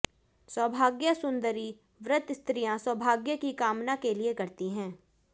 सौभाग्य सुंदरी व्रत स्त्रियां सौभाग्य की कामना के लिए करती हैं